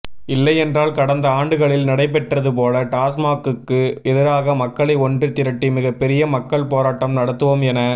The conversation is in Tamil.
இல்லையென்றால் கடந்த ஆண்டுகளில் நடைபெற்றது போல டாஸ்மாக்குக்கு எதிராக மக்களை ஒன்று திரட்டி மிகப்பெரிய மக்கள் போராட்டம் நடத்துவோம் என